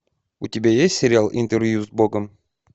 у тебя есть сериал интервью с богом